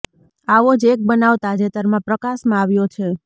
આવો જ એક બનાવ તાજેતરમાં પ્રકાશમાં આવ્યો છે